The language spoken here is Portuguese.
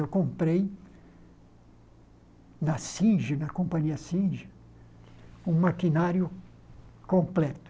Eu comprei na Sinja, na companhia Sinja, um maquinário completo.